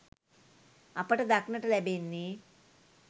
අපට දක්නට ලැබෙන්නේ